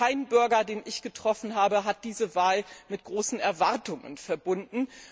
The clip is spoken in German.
Kein Bürger, den ich getroffen habe, hat diese Wahl mit großen Erwartungen verbunden.